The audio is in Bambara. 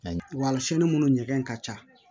Walisini minnu ɲɛgɛn ka ca